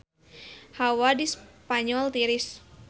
Hawa di Spanyol tiris